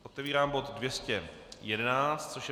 Otevírám bod 211, což je